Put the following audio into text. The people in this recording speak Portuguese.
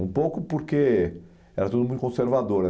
Um pouco porque era tudo muito conservador.